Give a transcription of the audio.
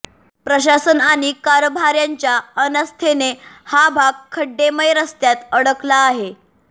प्रशासन आणि कारभार्यांच्या अनास्थेने हा भाग खड्डेमय रस्त्यांत अडकला आहे